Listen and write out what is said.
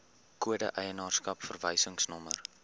kode eienaarskap verwysingsnommer